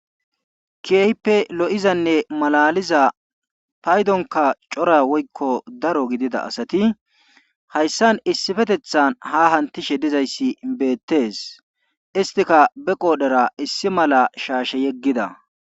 keehipe lo'izanne malaliza payduwankka keehippe cora gidida asati hayssan issipetethan ha hamutishe dizayssi beetees. isttikka be qodhera issi mala shaashe yegida.